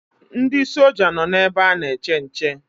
Ndị soja nọ na ebe ana-eche nche.